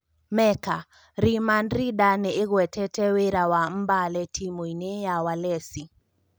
(Meka) Ri Mandrinda nĩ ĩgwetete wĩra wa Mbale " timu-inĩ ya Walesi.